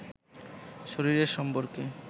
শরীরের সম্পর্কে